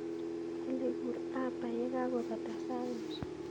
Olly kuur uber yekakobata sait nusu